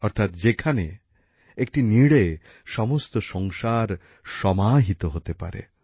অর্থাৎ যেখানে একটি নীড়ে সমস্ত সংসার সমাহিত হতে পারে